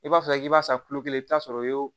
I b'a fɔ k'i b'a san kulo kelen i bi t'a sɔrɔ o ye